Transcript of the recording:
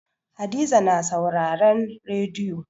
Hadiza na sauraren rediyo.